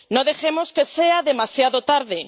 No dejemos que sea demasiado tarde.